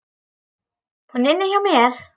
Hún er inni hjá mér.